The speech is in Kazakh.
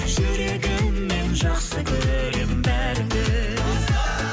жүрегіммен жақсы көрем бәріңді